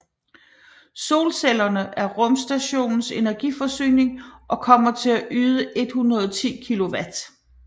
Solcellerne er rumstationens energiforsyning og kommer til at yde 110 kilowatt